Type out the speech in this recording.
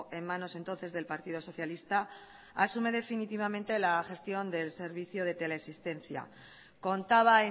en manos entonces del partido socialista asume definitivamente la gestión del servicio de teleasistencia contaba